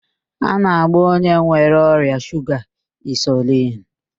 A na-agba onye nwere ọrịa shuga insulin.